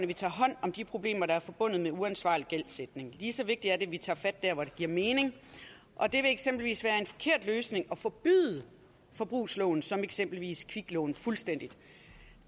vi tager hånd om de problemer der er forbundet med uansvarlig gældsætning lige så vigtigt er det at vi tager fat der hvor det giver mening og det vil eksempelvis være en forkert løsning at forbyde forbrugslån som eksempelvis kviklån fuldstændig